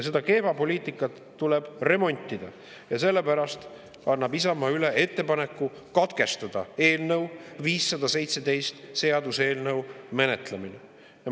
Seda kehva poliitikat tuleb remontida ja sellepärast annab Isamaa üle ettepaneku katkestada seaduseelnõu 517 menetlemine.